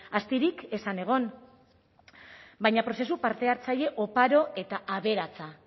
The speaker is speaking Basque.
astirik ez zen egon baina prozesu parte hartzaile oparo eta aberatsa